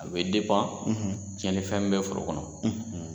A bɛ ,, cɛnli fɛn min bɛ foro kɔnɔ.